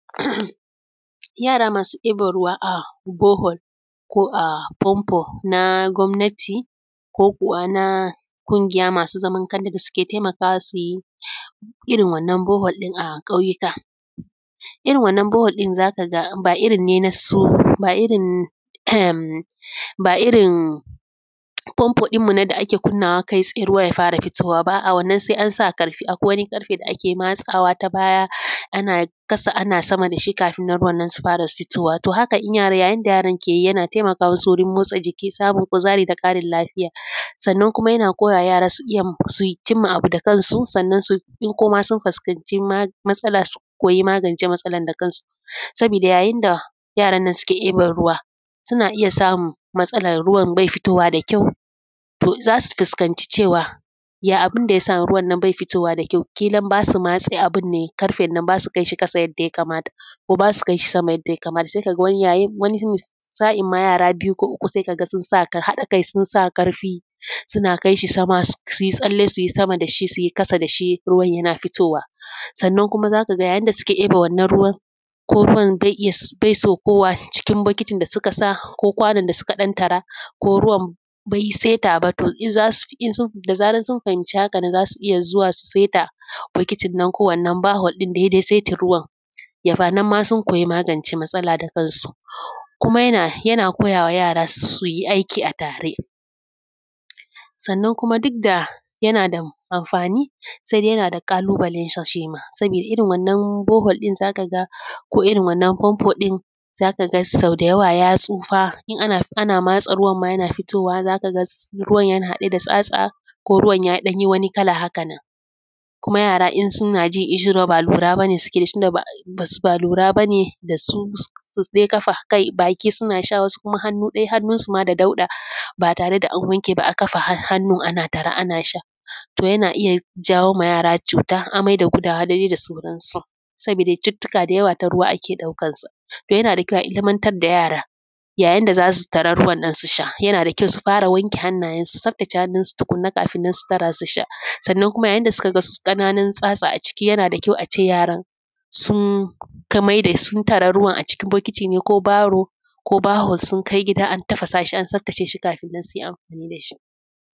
Yara masu ɗiban ruwa a bore hole ko a famfo na gwamnati ko kuwa na ƙungiya masu zaman kansu da suke taimakawa su yi irin wannan bore hole ɗin a ƙauyuka. Irin wannan bore hole ɗin za ka ga ba irin famfo ɗin mu ne da ake budewa kai tsaye ruwa ya fara fitowa ba a’a wannan sai an sa ƙarfi. Akwai wani ƙarfe da ake matsawa ta baya ana ƙasa ana sama da shi kafin nan ruwa nan su fara fitowa. To haka yayin da yaran nan ke yi yana taimaka masu wurin motsa jiki, samun kuzari, da ƙarin lafiya. Sannan kuma yana koyawa yara su cimma abu da kansu, sannan in kuma sun fuskace masala su koyi magance masala da kansu, sabida yayin da yaran nan suke diban ruwa suna iya samun masalan ruwan bai fitowa da kyau, to za su fuskanci cewan ya abin da yasa ruwa nan bai fitowa da kyau, ƙilan ba su matse abin ne, ƙarfe nan ba su kai shi ƙasa yadda ya kamata, ko ba su kai shi sama yanda ya kamata. Sai ka ga wani sa'in ma yara biyu ko uku sai kaga su sa ƙarfi suna kai shi sama su yi tsalle su yi sama da shi su yi ƙasa da shi ruwan yana fitowa. Sannan kuma za ka ga yayin da suke ɗiban wannan ruwan, ko ruwan bai saukowa cikin bokitini da suka sa ko kwanon da suka ɗan tara ko ruwa bai sai taba to da zaran sun fahimci hakan za su iya zuwa su saita bokitinan, ko wannan bahonnan dai dai saitin ruwan. Nan ma sun koyi magance masala da kansu. Kuma yana koyawa yara su yi aiki a tare sannan kuma duk da yana da amfani, yana da ƙalubalan shi shi ma. Sabida irin wannan bore hole ɗin za ka ga ko irin wannan famfo ɗin za ka ga so da yawa ya tsufa in ana matsa ruwan ma yana fitowa za ka ga ruwa yana haɗe da tsatsa, ko ruwa yayi wani ɗan kalla haka nan, kuma yara in suna ji ƙishin ruwa ba lura bane da su, buɗe baki kawai suke suna sha, wasu kuma hannu ɗaya hannun su ma da daudɗ ba tare da an wanke ba a kafa hannu ana tara ana sha. To yana iya jawowa yara cuta, amai da gudawa, da dai sauransu. Sabida cututtuka da yawa ta ruwa ake ɗaukan su. Sabida haka yana da kyau a ilimintar da yara yayin da za su tara ruwan nan su sha, yana da kyau su fara wanke hannayen su su tsaftace hannu su tukunna kafin su tara su sha. Sannan kuma yayin da suka ga ƙananun tsatsa a ciki yana da kyau a ce yaran sun tara ruwan a cikin bokiti ne ko baho sun kai gida a tafasa shi, an tsaftace shi kafin nan su yi amfani da shi.